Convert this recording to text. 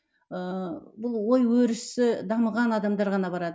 ыыы бұл ой өрісі дамыған адамдар ғана барады